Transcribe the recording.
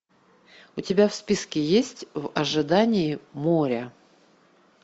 у тебя в списке есть в ожидании моря